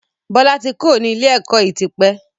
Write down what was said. Bọlá tí kúrò ní ilé ẹ̀kọ́ yìí tí pẹ́.